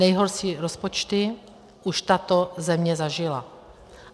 Nejhorší rozpočty už tato země zažila.